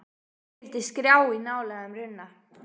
Því fylgdi skrjáf í ná lægum runna.